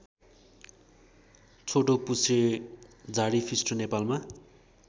छोटोपुच्छ्रे झाडीफिस्टो नेपालमा